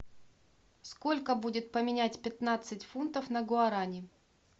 сколько будет поменять пятнадцать фунтов на гуарани